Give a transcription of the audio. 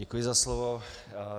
Děkuji za slovo.